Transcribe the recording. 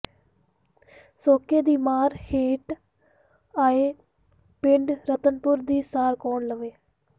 ਸੋਕੇ ਦੀ ਮਾਰ ਹੇਠ ਆਏ ਪਿੰਡ ਰਤਨਪੁਰ ਦੀ ਸਾਰ ਕੌਣ ਲਵੇ